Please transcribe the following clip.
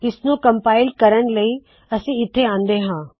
ਇਸ ਨੂੰ ਕਮਪਾਇਲ ਕਰਣ ਲਈ ਅਸੀ ਇੱਥੇ ਆੰਦੇ ਹਾ